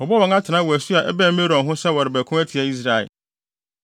Wɔbɔɔ wɔn atenae wɔ asu a ɛbɛn Merom ho sɛ wɔrebɛko atia Israel.